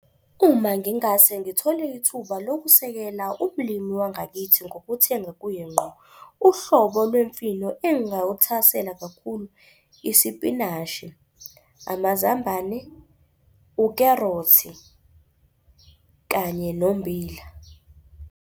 Uma ngingase ngithole ithuba lokusekela umlimi wangakithi ngokuthenga kuye ngqo, uhlobo lwemfino engingawuthakasela kakhulu isipinashi, amazambane, ukherothi kanye nombila.